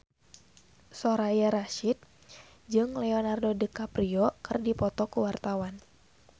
Soraya Rasyid jeung Leonardo DiCaprio keur dipoto ku wartawan